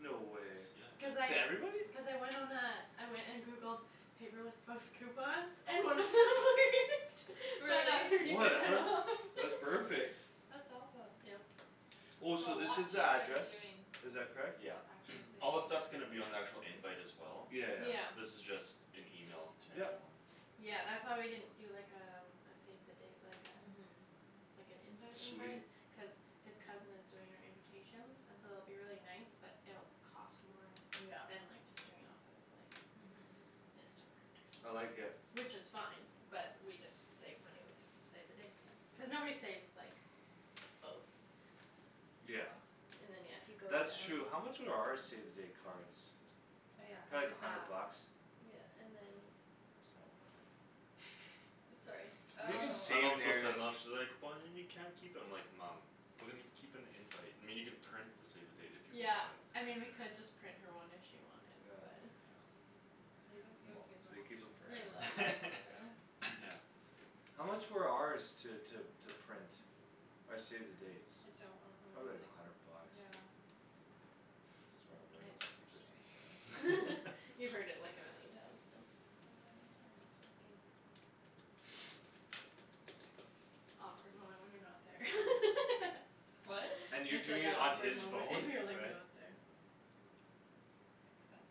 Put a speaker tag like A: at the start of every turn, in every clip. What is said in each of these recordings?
A: No way.
B: Cuz
C: That's, yeah, good.
A: To
B: I,
A: everybody?
B: cuz I went on a I went and Googled Paperless Post coupons And then it worked. So I got
D: Really?
B: thirty percent
A: Whatever,
B: off.
A: that's perfect.
D: That's awesome.
B: Yep.
A: Oh,
D: That's a
A: so this
D: lot
A: is the
D: cheaper than
A: address?
D: doing
A: Is that correct?
C: Yeah.
D: Actual save
C: All this stuff's
D: the dates.
C: gonna be on the actual invite as well.
B: Yeah.
A: Yeah, yeah.
C: This is just an email to
A: Yep.
C: everyone.
B: Yeah, that's why we didn't do, like, um a save the date, like uh
D: Mhm.
B: Like an invite
A: Sweet.
B: invite cuz His cousin is doing our invitations And so it'll be really nice but it'll cost more
D: Yeah,
B: Than, like, just doing it off of, like,
D: mhm.
B: Vistaprint or
A: I like
B: something.
A: it.
B: Which is fine but we just save money with the Save the dates then, cuz nobody saves, like, both.
A: Yeah.
B: And then, yeah, if you go
A: That's
B: down
A: true. How much were our save the date cards?
D: Oh, yeah, I
A: Probably a
D: did that.
A: hundred bucks.
B: Yeah, and then
A: It's not worth it.
B: Sorry.
A: You can
C: My mom thinks I'm not, she's like, "But then you can't keep 'em." I'm like, "Mom." "We're gonna gi- keep an invite, I mean, you can print the save the date if you
B: Yeah,
C: want."
B: I mean we could just print her one if she wanted but
A: Yeah.
C: Yeah.
A: Moms. They keep 'em
B: I love
A: forever.
B: that photo.
C: Yeah.
A: How much were ours to, to, to print? Our save the dates?
D: I don't re-
A: Probably
D: remember,
A: like a hundred
D: like,
A: bucks.
D: yeah.
A: Sorry, when
D: I
A: it was
D: didn't
A: like
D: hear your
A: fifty
D: story.
A: five or
B: You've heard it like a million times, so.
D: The wedding RSVP.
B: Awkward moment when you're not there.
D: What?
A: And you're
B: I said,
A: doing
B: "That
A: it on
B: awkward
A: his
B: and
A: phone,
B: you're, like,
A: right?
B: not there."
D: Accept.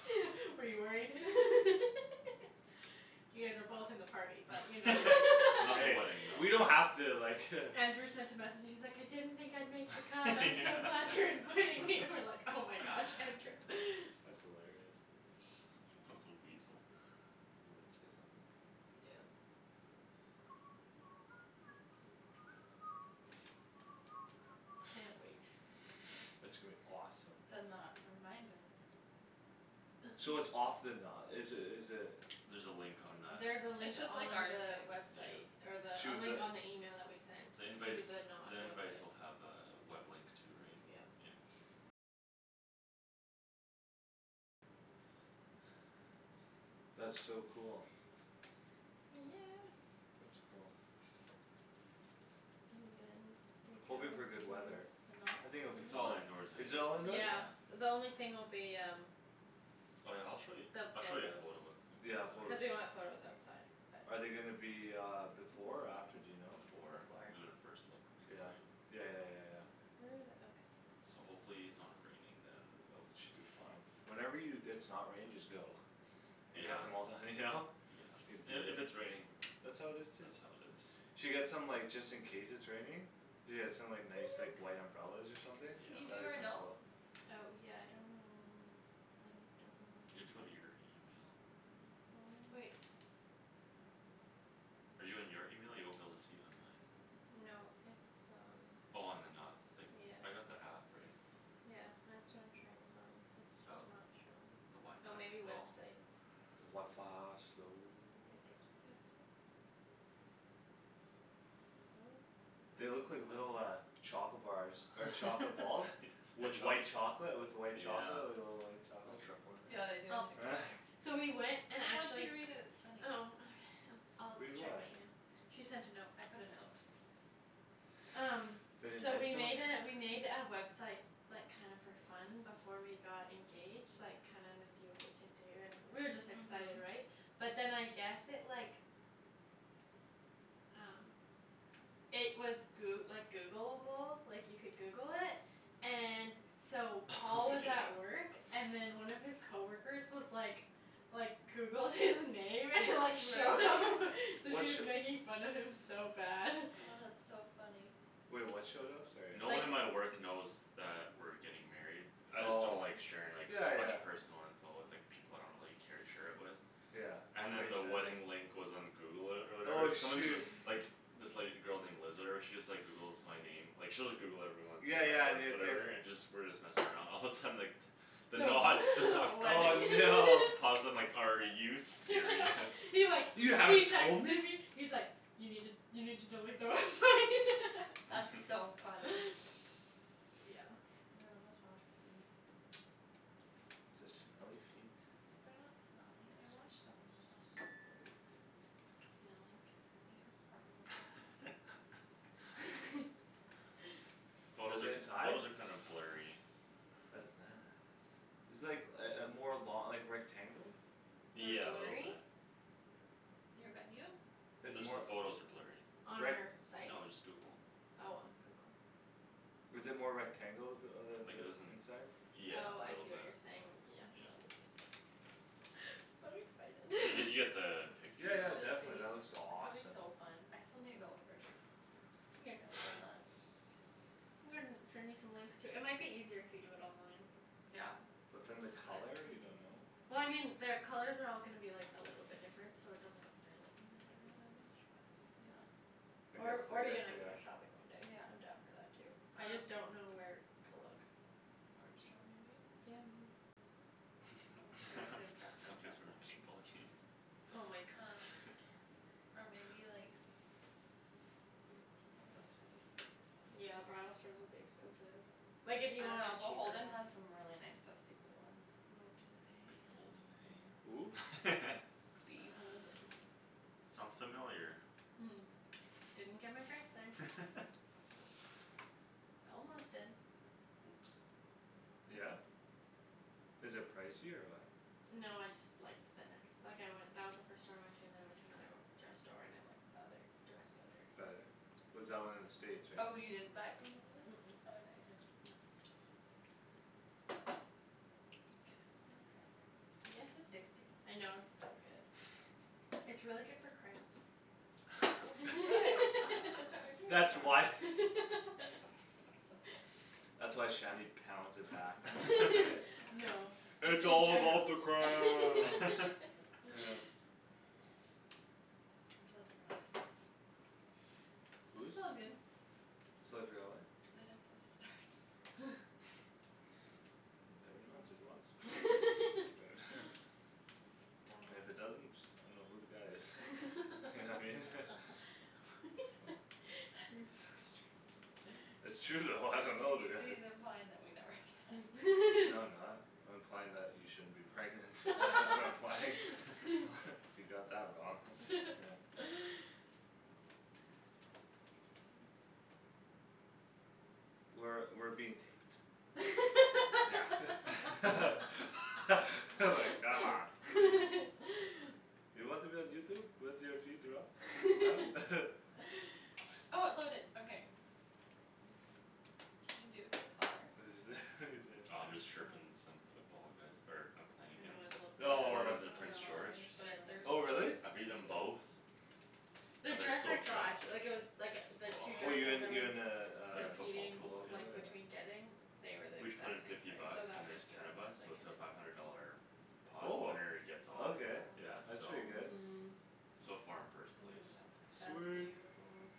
B: Were you worried? You guys are both in the party but you know
C: Not the
A: Hey,
C: wedding, though.
A: we don't have to like
B: Andrew sent a message; he's like, "I didn't think I'd make the cut. I'm so
C: Yeah.
B: glad you're inviting me!" And I'm like, "Oh my gosh, Andrew."
A: That's hilarious.
C: Little weasel. He would say something like that.
B: Yeah.
D: Yeah.
B: Can't wait.
A: It's gonna be awesome.
D: The Knot reminder.
A: So it's off the na- is it, is it
C: There's a link on that.
B: There's a link
D: It's just
B: on
D: like ours,
B: the
D: babe.
B: website.
C: Yeah.
B: Or the, a
A: To
B: link
A: the
B: on the email that we sent.
C: The
B: To
C: invites,
B: the Knot
C: the invites
B: website.
C: will have a web link too, right?
B: Yeah.
C: Yeah.
A: That's so cool.
B: Yeah.
A: That's cool.
B: And then we go
A: Hoping for good weather.
B: to
D: The Knot?
A: I think
B: Can
A: it'll be
C: It's all
A: fine.
B: you
C: indoors
A: Is
C: anyways,
A: it all indoor?
B: Yeah,
C: yeah.
B: the only thing will be um
C: Oh, yeah, I'll show you,
B: The
C: I'll show you a photo
B: photos.
C: quickly
A: Yeah,
B: Cuz
A: photos.
B: we wanna have photos outside,
A: Are
B: but
A: they gonna be uh before or after, do you know?
C: Before. We're gonna
B: Before.
C: first look in the
A: Yeah,
C: night.
A: yeah, yeah, yeah, yeah.
B: Where are the, oh
C: So
B: guest list.
C: hopefully it's not raining then but we
A: We should
C: should
A: be
C: be
A: fine.
C: fine.
A: Whenever you, it's not raining just go. And get
C: Yeah.
A: the mo- the, you know? Say "Beat
C: And if
A: it."
C: it's raining,
A: That's
C: that's how
A: how
C: it
A: it is too.
C: is.
A: Should get some, like, just in case it's raining. Yeah, some, like, nice, like, white umbrellas or something.
D: Can you do
A: That'd be
D: our
A: kinda
D: note?
A: cool.
B: Oh yeah, I don't know, I don't know
C: You
B: where
C: have to
B: my
C: go to
B: phone
C: your email.
B: My phone.
D: Wait.
C: Are you in your email? You won't be able to see it on mine.
B: No, it's um
C: Oh on The Knot. Like,
B: Yeah.
C: I got the app, right?
B: Yeah, that's what I'm trying to find. It's
C: Oh,
B: just not showing.
C: the
B: Oh, maybe
C: wifi's slow.
B: website.
A: The wifi slow.
B: Then guestbook.
D: Guestbook.
B: No.
A: They look like little uh Chocolate bars or chocolate balls. With
C: White.
A: white chocolate, with white chocolate,
C: Yeah.
A: like, little white
C: Little
A: chocolates.
C: truffle in there.
D: Yeah, they do.
B: I'll figure it out later. So we went and
D: No, I want you
B: actually
D: to read it, it's funny.
B: Oh okay, I'll d-
A: Read
B: I'll check
A: what?
B: my email. She sent a note.
D: I put a note.
B: Um,
A: Pretty
B: so we
A: nice note?
B: made a, we made a website Like, kinda for fun before we got engaged. Like, kinda wanna see what we could do and we were just excited,
D: Mhm.
B: right? But then I guess it, like Um It was Goo- like Googleable, like, you could Google it And so Paul
C: Oh,
B: was
C: yeah.
B: at work And then one of his coworkers was like Like, Googled his name and like showed up
D: Really?
B: So
A: What sh-
B: just making fun of him so bad.
D: Oh, that's so funny.
A: Wait, what showed up? Sorry,
C: No
A: I
C: one
B: Like
C: at my work knows that we're getting married. I just don't
A: Oh,
C: like sharing, like,
A: yeah,
C: a bunch
A: yeah.
C: of personal info with, like People I don't really care to share it with.
A: Yeah,
C: And then
A: makes
C: the
A: sense.
C: wedding link was on Google or, or
A: Oh
C: whatever. Someone's
A: shoo-
C: Like, this, like, girl named Liz or whatever she Just, like, Googles my name. Like, she'll just Google everyone When
A: Yeah,
C: we're at
A: yeah,
C: work
A: new thing.
C: whatever and just, we're just messing around, all of a sudden, like The Knot stuff
A: Oh,
B: Wedding
A: no.
C: Paused and like, "Are you serious?"
B: He, like, he
A: "You haven't told
B: texted
A: me?"
B: me He's like, "You need to, you need to delete the website."
D: That's so funny.
B: Yeah.
D: You wanna massage my feet?
A: Is this smelly feet
D: They're not smelly. I washed them when you're not home.
A: Smelly feet.
B: Smelly
D: You know
B: cat,
D: sparkle a little
B: smelly
D: bit there.
B: cat.
C: Photos
A: Is it
C: are,
A: inside?
C: photos are kinda blurry.
A: That's nice. It's, like, uh uh more lo- like, rectangle?
B: They're
C: Yeah, a little
B: blurry?
C: bit.
D: Your venue?
A: It's
C: Just the
A: more,
C: photos are blurry.
B: On
A: like
B: our site?
C: No, just Google.
B: Oh, on Google.
A: Is it more rectangle? The uh
C: Like
A: the, the
C: it isn't,
A: inside?
C: yeah,
B: Oh,
C: a
B: I
C: little
B: see what
C: bit.
B: you're saying. Oh,
C: Yeah.
B: it's So
C: You get, you get
B: excited.
C: the
D: You
C: picture
A: Yeah, yeah,
C: though.
D: should
A: definitely
D: be.
A: that looks
D: It's gonna be
A: awesome.
D: so fun. I still need to go look for a dress.
B: It's okay. I'm gonna send you some links too. It might be eaiser if you do it online.
D: Yeah.
A: But then the
B: But
A: color, you don't know?
B: Well, I mean their colors are all gonna be like a little different so it doesn't really matter all that much, but
D: Yeah.
A: I guess,
B: Or,
A: I
B: or you
A: guess
B: and I
A: they
B: can go
A: are.
B: shopping one day.
D: Yeah,
B: I'm
D: I'm down
B: down for
D: for
B: that
D: that
B: too.
D: too.
B: I just don't know where to look.
D: Nordstrom maybe?
B: Yeah, maybe.
D: Um there's a dress, a
C: You guys
D: dress
C: for another
D: section.
C: paintball game?
B: Oh my gosh.
D: Or maybe like Bridal store, that's gonna be expensive
B: Yeah,
D: though.
B: bridal stores will be expensive. Like, if you
D: Oh,
B: want a
D: no,
B: cheaper
D: Beholden
B: one.
D: has some really nice dusty blue ones.
B: Oh, do they?
C: Beholden,
A: Who?
C: hey?
D: Uh
B: Beholden.
C: Sounds familiar.
B: Didn't get my dress there. Almost did.
C: Oops.
A: Yeah? Is it pricey or what?
B: No, I just liked the nex- like, I went, that was the first store I went To and then I went to another dress store and I liked The other dress better, so.
A: Better? Was that one in the States, right?
D: Oh, you
B: Mhm.
D: didn't buy it from Beholden?
B: Mm- mm.
D: Oh, I thought you did.
B: No.
D: Can I have some more
B: Yes.
D: cranberry? It's addicting.
B: I know, it's so good. It's really good for cramps.
D: Oh I'm supposed to start my
C: Girls.
D: period
A: That's
D: tomorrow.
A: why.
D: That's cool.
A: That's why Shanny pounds it back then, eh?
B: No. That's
A: "It's
B: what
A: all
B: I'm
A: about the
B: trying
A: cramps!"
B: to
D: I'm totally forgot I was supposed to
A: Whose?
B: It's all good.
A: Totally forgot, what?
D: That I'm supposed to start tomorrow.
A: Never
D: Thomas's
A: mind, And if it
D: That was
A: doesn't, I dunno who the guy is. You know what I mean?
C: Oh.
B: You're so strange.
A: It's true though, I dunno who
D: He's,
A: the guy is.
D: he's implying that we never have se-
A: No, I'm not. I'm implying that you shouldn't be pregnant. That's what I'm implying. You got that wrong. Yeah.
D: I guess.
A: We're, we're being taped. Yeah like, come on. You want to be on Youtube? With your feet rub? Huh?
B: Can you do it by color?
A: What'd you say? What'd you say?
C: Oh, I'm just chirping some football guys er I'm playing
B: I know,
C: against.
B: I love
C: The
B: their
A: Oh.
C: foreman's in
B: dresses so
C: Prince George.
B: much but they're
A: Oh
B: so
A: really?
C: I've beaten
B: expensive.
C: them both.
B: The
C: And they're
B: dress
C: so
B: I saw
C: trashed.
B: actu- like, it was Like, the two
A: Oh you
B: dresses I
A: in, you
B: was
A: in uh,
C: In a
A: a
C: football
A: football
B: Competing,
C: pool,
A: pool?
C: yeah.
B: like,
A: Yeah.
B: between getting They were, like,
C: We each put in
B: exact same
C: fifty
B: price so
C: bucks
B: that
C: and
B: was
C: there's ten
B: good.
C: of us
B: Like,
C: so
B: I
C: it's a
B: didn't
C: five
B: have
C: hundred
B: to worry
C: dollar
B: about that.
C: Pot
A: Oh.
C: winner-gets-all,
D: That
A: Okay,
C: yeah,
A: that's
D: one's
C: so.
A: pretty
D: fun though.
A: good.
B: Mhm.
C: So far I'm first place.
D: Ooh, that's
B: That's
D: pretty.
A: Sweet.
B: beautiful.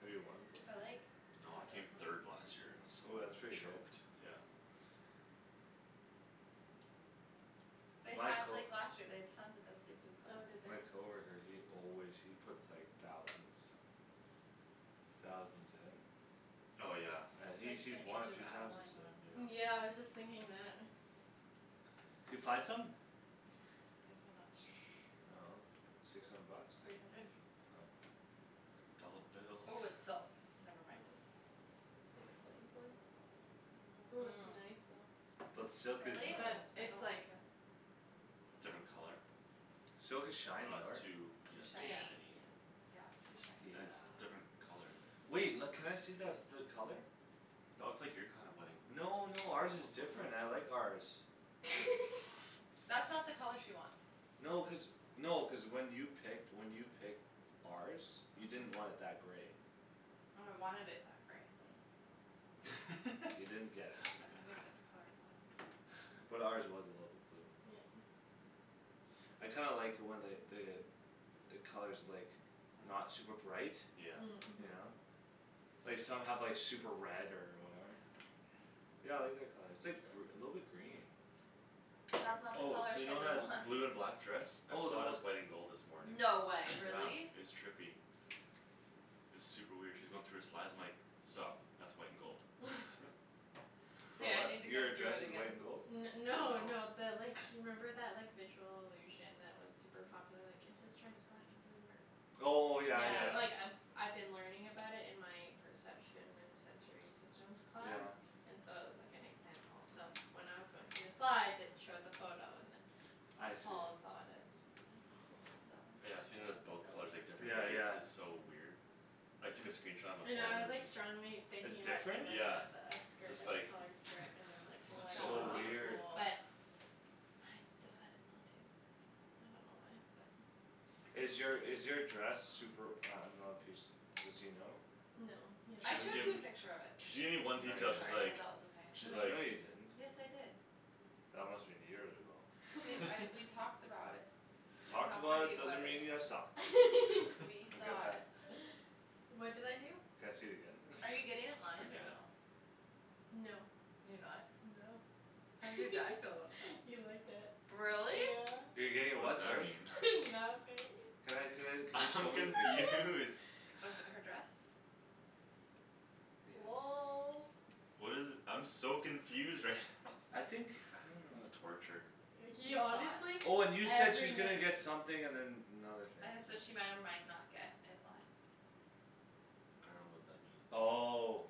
A: Have you won before?
D: I like
C: No, I
D: that
C: came
D: this
C: third last year
A: Oh,
D: one
A: that's
D: has
A: pretty good.
C: choked, yeah.
D: They
A: My
D: had,
A: co-
D: like, last year they'd tons of dusty blue
B: Oh, did they?
A: My
D: color
A: coworker, he always, he puts, like, thousands Thousands in.
C: Oh, yeah.
A: And
D: That's
A: he's,
D: like
A: he's
D: the
A: won a
D: Age of
A: few times,
D: Adeline
A: he said.
D: one.
C: Yeah.
B: Yeah, I was just thinking that.
A: D'you find something?
D: Guess how much.
A: I dunno, six hundred bucks?
D: Three hundred.
A: Oh.
C: Dolla
D: Oh,
C: bills.
D: it's silk.
B: Oh,
D: Never mind.
B: that explains why. Ooh, it's nice though.
A: But silk is
D: Really?
B: But
A: nice.
D: I
B: it's
D: don't
B: like
D: like it. So
C: Different
D: pricey.
C: color?
A: Silk is shiny,
C: Oh, it's
A: right?
C: too,
D: Too
C: yeah, too
B: Yeah,
D: shiny.
C: shiny.
B: yeah.
D: Yeah, it's too
A: Yeah.
C: And it's
D: shiny.
C: different color, the
A: Wait. L-
B: Yeah.
A: can I see that, the color?
C: That looks like your kind of wedding.
A: No, no, ours is different, I like ours.
D: That's not the color she wants.
A: No, cuz, no, cuz when you picked, when you picked ours You didn't want it that grey.
D: No, I wanted it that grey.
A: Oh. You didn't get it.
D: I didn't get the color I wanted.
A: But ours was a little bit blue.
B: Yeah.
A: I kinda like when the, the The color's, like, not
D: That's
A: super bright.
C: Yeah.
B: Mm.
A: You
B: Mhm.
A: know? Like some have, like, super red or
D: I don't
A: whatever.
D: like it.
A: Yeah, I like that color. It's
B: Yeah.
A: like gr- a little bit green.
D: That's not the
C: Oh,
D: color
C: so you know
D: Shandryn
C: that
D: wants.
C: blue and black dress? I
A: Oh, then
C: saw it
A: wha-
C: as white and gold this morning.
D: No way,
C: Yeah,
D: really?
C: it's trippy. It's super weird. She was going through her slides, I'm like "Stop, that's white and gold."
A: For
D: K, I
A: what?
D: need to go
A: Your
D: through
A: dress
D: it
A: is
D: again.
A: white and gold?
B: N- no, no,
C: No.
B: the like You remember that, like, visual illusion That was super popular, like, is this dress black and blue or
A: Oh, yeah,
B: Yeah,
A: yeah.
B: like,
C: Yeah.
B: I I've been learning about it in my Perception and sensory systems class
A: Yeah.
B: And so it was, like, an example so When I was going through the slides it showed the photo and then
A: I see.
B: Paul saw it as
D: That one's
C: Yeah,
D: kinda
C: I've seen
D: Fall,
C: it as
D: it's so
C: both colors, like, different
A: Yeah,
D: cool.
C: days.
A: yeah.
C: It's so weird. I took a
A: Hmm.
C: screenshot on my
B: I know
C: phone
B: I was,
C: and it's
B: like,
C: just
B: strongly thinking
A: It's
B: about doing
A: different?
B: like one
C: Yeah.
B: of the
C: It's
B: skirt,
C: just
B: like a
C: like,
B: colored skirt and then, like
C: "What's
B: White
D: That
C: going
A: So
D: would
C: on?"
B: tops
D: be
A: weird.
D: cool.
B: but I decided not to. I don't know why, but
A: Is your, is your dress Super, I dunno if he's, does he know?
B: No, he
C: She
D: I
B: hasn't
C: doesn't
D: showed
C: give
D: you
B: seen
D: a
B: it.
D: picture of it.
C: She gave me one
A: No,
C: detail,
D: Sorry,
A: you
C: she's
D: I
A: didn't.
D: hope
C: like
D: that was okay.
C: She's like
A: No, you
D: Like,
A: didn't..
D: yes, I did.
A: That must've been years ago.
D: Babe, I, we talked about it. And
A: Talked
D: how
A: about
D: pretty
A: it
D: it was.
A: doesn't mean you saw.
D: We
A: I'll get
D: saw
A: that.
D: it.
B: What did I do?
A: Can I see it again then?
D: Are you getting it
C: I
D: lined or
C: forget.
D: no?
B: No.
D: You're not?
B: No.
D: How did your dad feel about that?
B: He liked it.
D: Really?
B: Yeah.
A: You're getting it
C: What's
A: what,
C: that
A: sorry?
C: mean?
B: Nothing.
A: Can I, can I, can you
C: I'm
A: show me the picture?
C: confused.
D: With her dress?
A: Yes.
B: Lolz.
C: What is it, I'm so confused right now.
A: I think, I don't
C: This is
A: know.
C: torture.
B: He
D: He saw
B: honestly
D: it.
A: Oh, and you said
B: every
A: she's gonna
B: night
A: get something and then another thing
D: I had
A: to
D: said she might or might not get it lined.
C: I dunno what that means.
A: Oh,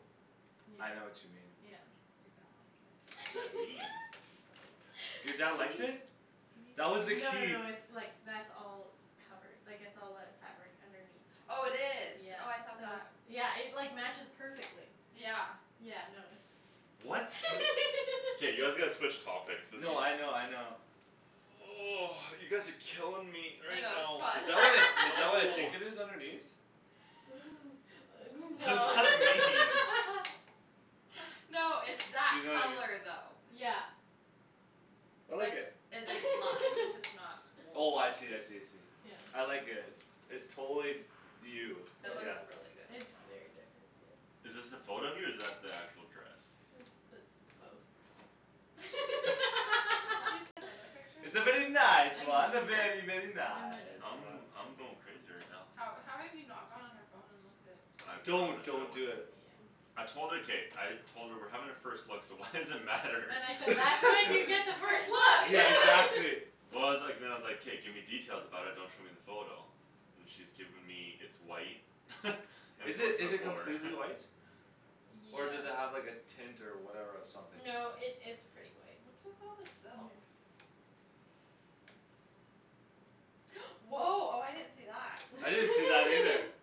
B: Yeah,
D: Yeah,
A: I know what you mean.
D: yeah.
B: yeah.
D: You're gonna like it.
C: What does that mean?
A: Your dad liked it? That was
B: No
A: the
B: no
A: key.
B: no, it's, like, that's all Covered. Like, it's all that fabric underneath.
D: Oh, it is.
B: Yeah,
D: Oh, I thought
B: so it's,
D: that
B: yeah, it, like, matches perfectly.
D: Yeah.
B: Yeah, no, it's
C: What? K, you guys gotta switch topics. This is
A: No, I know, I know.
C: You guys are killing me
D: I
C: right
D: know, it's
C: now.
A: Is
D: fun.
A: that what I, is that what I
C: No.
A: think it is underneath?
C: What does
B: No.
C: that
A: This
C: mean?
D: No, it's that
A: You know i-
D: color though.
B: Yeah.
A: I like
D: But
A: it.
D: it, it's lime, it's just not
A: Oh, I see, I see, I see.
B: Yeah.
A: I like it. It's, it's totally You.
B: No,
D: It
B: it's
D: looks
A: Yeah.
B: just,
D: really good on
B: it's
D: you.
B: very different, yeah.
C: Is this the photo of you or is that the actual dress?
B: It's the, both.
D: Didn't you send other pictures? I
A: It's a very
B: I
A: nice
B: control
A: one.
D: can
A: A very, very,
B: In a
A: nice
B: nice
C: I'm,
A: one.
B: way.
C: I'm going crazy right now.
D: How, how have you not gone on her phone and looked at
C: I
A: Don't,
C: promised her I
A: don't do
B: Yeah.
A: it.
C: wouldn't.
D: Yeah.
C: I told her. K, I Told her we're having a first look so why does it matter?
B: And I said, "That's when you get the first
A: Yeah,
B: look!"
A: exactly.
C: Well, I was like, then I was like, "K, give me details about it; don't show me the photo." And she's given me, "It's white." "And
A: Is
C: it's
A: it,
C: a"
A: is it completely white?
B: Yeah.
A: Or does it have, like, a tint or whatever or something?
B: No, it, it's pretty white.
D: What's with all the silk?
B: Mhm.
D: Woah, oh, I didn't see that.
A: I didn't see that either.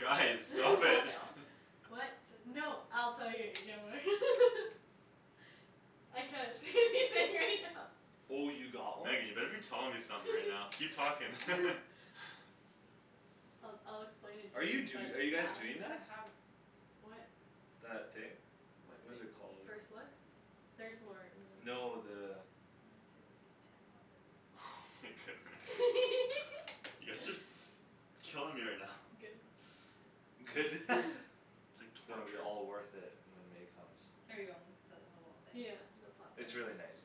C: Guys,
D: Does it
C: stop
D: fall
C: it.
D: down?
B: What,
D: Does it
B: no, I'll tell you
A: Oh, you got one?
C: Megan, you better be telling me something right now. Keep talking.
B: I'll, I'll explain it
A: Are
B: to
A: you
B: you but
A: do- are you guys doing that?
B: What?
A: That thing?
B: What
A: What
B: thing?
A: is it called, I
B: First
A: dunno.
B: look? Theres more. And then
A: No, the
D: I wanna see the detail of it.
C: Oh my goodness. You guys are s- killing me right now.
D: Good.
A: Good.
C: It's like
A: Gonna be
C: torture.
A: all worth it when May comes.
D: Are you on the little thing?
B: Yeah, the pot thing.
A: It's really nice.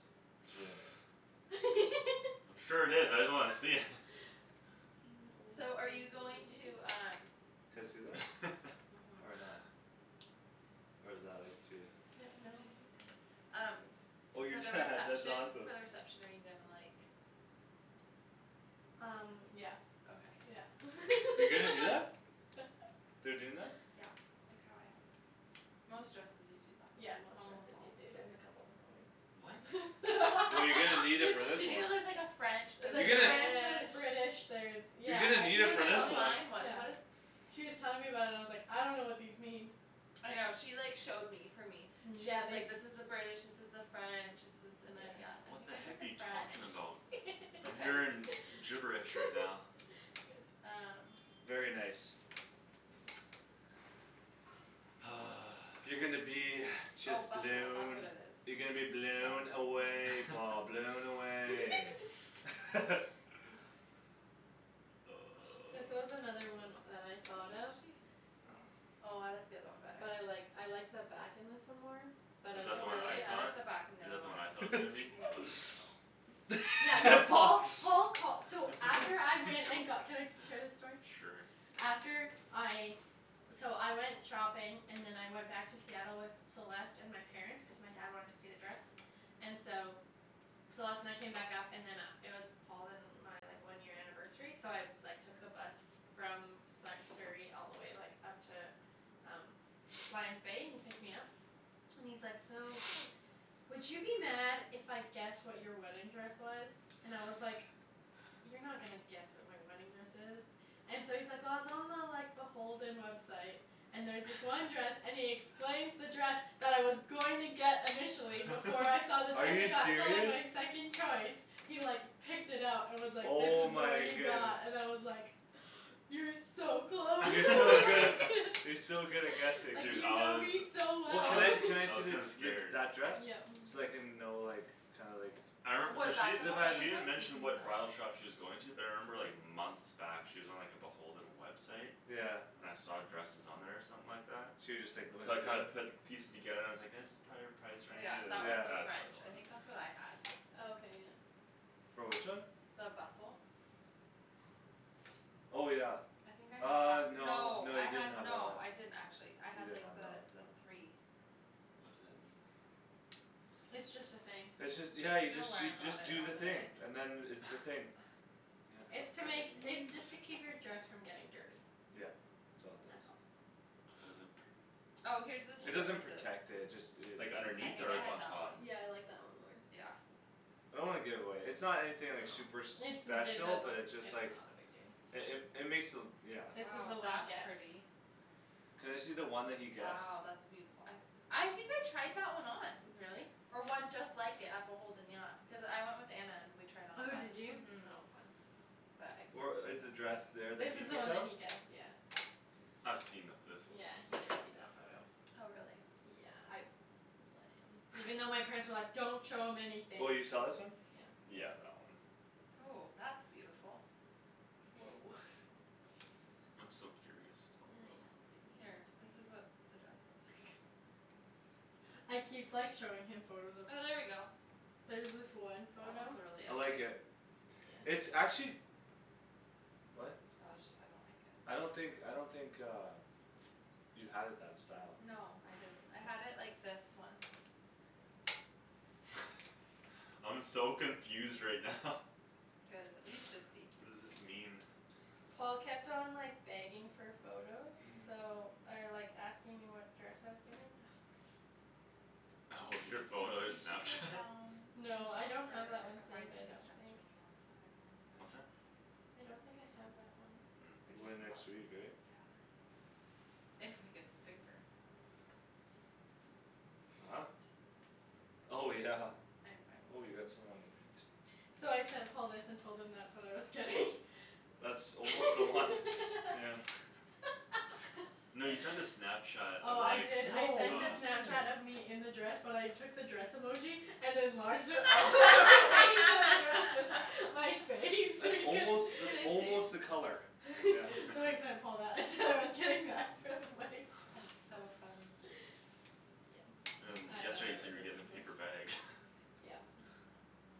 A: It's really nice.
C: Sure it is. I just wanna see it.
B: I know
D: So
B: we're
D: are you
B: being very
D: going
B: mean.
D: to um
A: Can I see that? Or
D: Mhm.
A: not? Or is that, like, too
B: Yeah, no.
D: No, you can see it. Um
A: Oh your
D: For the
A: dad, that's
D: reception, for
A: awesome.
D: the reception are you gonna, like
B: Um yeah,
D: Okay.
B: yeah.
A: You're gonna do that? They're doing that?
D: Yeah, like how I had mine. Most dresses you do that.
B: Yeah, most
D: Almost
B: dresses do,
D: all the
B: dude; there's a
D: dresses
B: couple different
C: What?
B: ways.
A: Well, you're gonna need it
D: There's,
A: for this
D: did you
A: one.
D: know there's like a French
A: You're
B: There's a
A: gonna
B: French,
D: There's
B: there's
D: British
B: British, there's
A: You're
B: Yeah,
A: gonna
B: uh
A: need
B: she
D: She
A: it
D: was
B: was
A: for this
D: telling
B: telling,
A: one.
D: mine was,
B: yeah.
D: what is
B: She was telling me about it and I was like, "I dunno what these mean."
D: I know. She like showed me for me. Yeah,
B: Yeah,
D: and she's
B: they
D: like, "This is the British, this is the French." "This is" and I,
B: Yeah.
D: yeah, I
C: What
D: think
C: the
D: I did
C: heck are
D: the
C: you
D: French.
C: talking about?
D: It's
C: I'm
D: okay.
C: hearing gibberish right now.
B: Good.
D: Um
A: Very nice.
B: Thanks.
A: You're gonna be
D: Oh
A: just
D: bustle, that's what
A: blown.
D: it
A: You're gonna be
D: is.
A: blown
D: Bustle.
A: away, Paul, blown away.
B: This was another one
D: So
B: that I
D: what
B: thought
D: was
B: of.
D: she? Oh I like the other one better.
B: But I like, I like the back in this one more. But
C: Is
B: I
C: that the one I
D: Really? I
C: thought?
D: like
B: like the
D: the back on the
C: Is
D: other
C: that the one I
D: one.
C: thought it was gonna be?
B: No.
C: Oh.
B: Yeah, no,
A: Paul
B: Paul, Paul call- so After I
A: He
B: went and got,
A: ca-
B: can I share this story?
C: Sure.
B: After I So I went shopping And then I went back to Seattle with Celeste and my Parents, cuz my dad wanted to see the dress And so Celeste and I came back up and then uh it was Paul and uh my, like, one year anniversary so I Like, took the bus from Sa- Surrey all the way, like, up to Um Lion's Bay, and he picked me up And he's like, "So Would you be mad if I guessed what your wedding dress was?" And I was like "You're not gonna guess what my wedding dress is." And so he's like, "Well, I was on the, like, the Beholden website." "And there was this one dress," and he explains the dress That I was going to get initially before I saw the
A: Are
B: dress I
A: you
B: got, so, like,
A: serious?
B: my second choice. He, like, picked it up and was like, "This
A: Oh
B: is the one
A: my
B: you
A: goodne-
B: got" and I was like "You're so close."
A: You're so good at, you're so good at guessing.
B: Like,
C: Dude,
B: you
C: I
B: know
C: was,
B: me so
A: Well,
C: I
A: can
B: well.
A: I,
C: was,
A: can I
C: I
A: see
C: was
A: the,
C: kinda
A: the,
C: scared.
A: that dress?
B: Yeah.
A: So I can know, like, kinda like
C: I re- cuz she, she didn't mention
B: Mm-
C: what bridal
B: mm.
D: Oh.
C: shop she was going to. But I remember, like, months back she was on, like, the Beholden website.
A: Yeah.
C: And I saw dresses on there or something like that
A: So you just, like, went
C: So I
A: into
C: kinda
A: there?
C: put pieces together and I was like "That's prolly our price
D: Oh,
C: range."
D: yeah,
C: And I
D: that
C: was
D: was
A: Yeah.
C: like,
D: the
C: "That's
D: French.
C: probably the
D: I
C: one."
D: think that's what I had.
B: Oh, okay, yeah.
A: For which one?
D: The bustle.
A: Oh, yeah.
D: I think I had
A: Uh,
D: that.
A: no,
D: No,
A: no,
D: I
A: you didn't
D: had
A: have that one.
D: no I didn't actually. I
A: You
D: had,
A: didn't
D: like,
A: have that one.
D: the, the three.
C: What does that mean?
B: It's just a thing.
A: It's just, yeah, you
D: You'll
A: just,
D: learn
A: you
D: about
A: just
D: it
A: do the
D: on the
A: thing
D: day.
A: and then it's the thing. Yep.
B: It's to make, it's just to keep your dress from getting dirty.
A: Yeah, it's all it does.
B: That's all.
C: How does it pr-
D: Oh, here's the two
A: It doesn't
D: differences.
A: protect it. Just it
C: Like,
D: I
C: underneath
D: think
C: or
D: I
C: like,
D: had
C: on
D: that one.
C: top?
B: Yeah, I like that one more.
D: Yeah.
A: I don't wanna give it away. It's not anything, like,
C: No.
A: super
B: It's, it
A: special but
B: doesn't,
A: it's just
B: it's
A: like
B: not a big deal.
A: It, it, it makes the, yeah.
B: This was the
D: Oh,
B: one he
D: that's
B: guessed.
D: pretty.
A: Can I see the one that he guessed?
D: Wow, that's beautiful. I I think I tried that one on.
B: Really?
D: Or one just like it at Beholden, yeah. Cuz I went with Anna and we tried on a
B: Oh,
D: bunch.
B: did you?
D: Mhm.
B: Oh fun.
D: But I
A: Or
D: couldn't fit
A: is the
D: in
A: dress
D: that one.
A: there
B: This
A: that you
B: is the
A: picked
B: one that
A: out?
B: he guessed, yeah.
C: I've seen the, this one;
B: Yeah, he
C: she's
B: did
C: shown
B: see
C: me
B: that
C: that
B: photo.
C: one.
D: Oh, really?
B: Yeah, I let him. Even though my parents were like, "Don't show him anything."
A: Oh, you saw this one?
B: Yeah.
C: Yeah, that one.
D: Ooh, that's beautiful.
B: Woah.
C: I'm so curious still
B: I
C: though.
B: know, baby,
D: Here,
B: I'm
D: this is
B: sorry.
D: what the dress looks like.
B: I keep, like, showing him photos of
D: Oh, there we go.
B: There's this one
D: That one's
B: photo
D: really
A: I like
D: pretty.
A: it. It's actually What?
D: Oh, it just, I don't think it
A: I don't think, I don't think uh You had it that style.
D: No, I didn't. I had it like this one.
C: I'm so confused right now.
D: Good, you should be.
C: What does this mean?
B: Paul kept on, like, begging for photos so Or, like, asking me what dress I was getting.
C: Oh, your
D: Babe,
C: photo
D: we should go
C: Snapchat?
D: down We should
B: No, I
D: look
B: don't have
D: for
B: that one
D: a
B: saved, I
D: bridesmaid's
B: don't
D: dress
B: think.
D: for me on Saturday when we go down
C: What's
D: to
C: that?
D: the States.
B: I don't think I have that one.
D: Or
A: We're going next week,
D: just look.
A: right?
D: Yeah. If I get the paper.
A: Huh? Oh, yeah.
D: I'm, I
A: Oh,
D: will.
A: you got some on your feet.
B: So I sent Paul this and told him that's what I was getting.
A: That's almost the one, yeah.
C: No, you sent a Snapchat
B: Oh,
C: of,
B: I
C: like,
B: did, I
A: No, what're
B: sent
C: uh
A: you
B: a Snapchat of
A: doing?
B: me in the dress but I took the dress emoji And enlarged it all the way so that it was Just like my face so
A: That's
B: he can't
A: almost,
D: Can
A: that's
D: I
A: almost
D: see?
A: the color. Yeah.
B: So I sent Paul that and said I was getting that. So funny.
D: That's so funny.
B: Yeah,
C: And
B: I thought
C: yesterday
B: I
C: you said
B: was
C: you
B: a
C: were getting a
B: loser.
C: paper bag.
B: Yep.